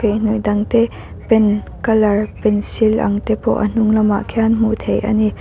dang te pen color pencil ang te pawh a hnung lamah khian hmuh theih ani.